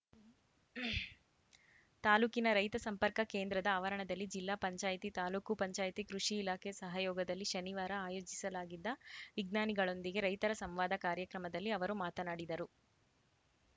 ತಾಲೂಕಿನ ರೈತ ಸಂಪರ್ಕ ಕೇಂದ್ರದ ಆವರಣದಲ್ಲಿ ಜಿಲ್ಲಾ ಪಂಚಾಯಿತಿ ತಾಲೂಕು ಪಂಚಾಯಿತಿ ಕೃಷಿ ಇಲಾಖೆ ಸಹಯೋಗದಲ್ಲಿ ಶನಿವಾರ ಆಯೋಜಿಸಲಾಗಿದ್ದ ವಿಜ್ಞಾನಿಗಳೊಂದಿಗೆ ರೈತರ ಸಂವಾದ ಕಾರ್ಯಕ್ರಮದಲ್ಲಿ ಅವರು ಮಾತನಾಡಿದರು